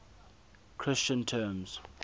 christian terms